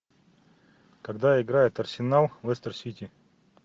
когда играет арсенал лестер сити